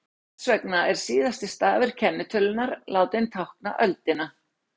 Þess vegna er síðasti stafur kennitölunnar látinn tákna öldina.